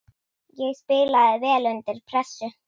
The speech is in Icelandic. Ég spilaði vel undir pressu.